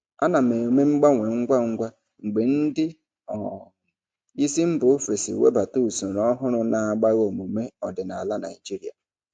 Ana m eme mgbanwe ngwa ngwa mgbe ndị um isi mba ofesi webata usoro ọhụrụ na-agbagha omume ọdịnala ndị Naijiria.